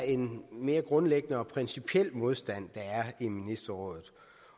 en mere grundlæggende og principiel modstand der er i ministerrådet